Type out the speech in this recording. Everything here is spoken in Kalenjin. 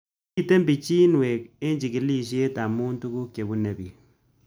Mito pichinwek eng' chig'ilishe amu tuguk che kipune pik